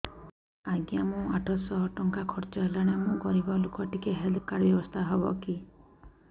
ଆଜ୍ଞା ମୋ ଆଠ ସହ ଟଙ୍କା ଖର୍ଚ୍ଚ ହେଲାଣି ମୁଁ ଗରିବ ଲୁକ ଟିକେ ହେଲ୍ଥ କାର୍ଡ ବ୍ୟବସ୍ଥା ହବ କି